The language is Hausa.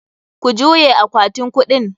Ku juye akwatin kuɗin!